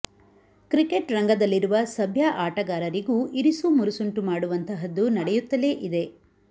cricket ರಂಗದಲ್ಲಿರುವ ಸಭ್ಯ ಆಟಗಾರರಿಗೂ ಇರಿಸು ಮುರುಸುಂಟು ಮಾಡುವಂತಹದ್ದು ನಡೆಯುತ್ತಲೇ ಇದೆ